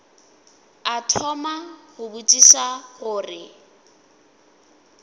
a thoma go botšiša gore